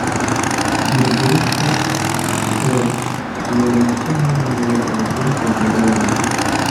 Burburinta kala duwanaanshaha noole ee dhulka beeralayda.